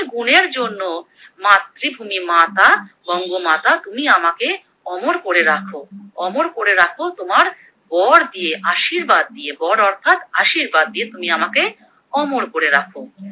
গুণের জন্য মাতৃভূমি মাতা বঙ্গমাতা তুমি আমাকে অমর করে রাখো, অমর করে রাখো তোমার। বর দিয়ে আশীর্বাদ দিয়ে বর অর্থাৎ আশীর্বাদ দিয়ে তুমি আমাকে অমর করে রাখো।